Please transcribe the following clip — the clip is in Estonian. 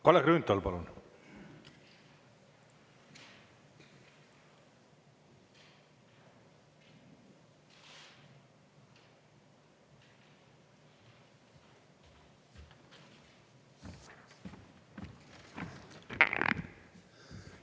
Kalle Grünthal, palun!